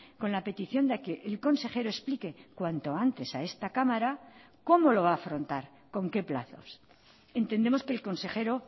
con la petición de que el consejero explique cuanto antes a esta cámara cómo lo va a afrontar con qué plazos entendemos que el consejero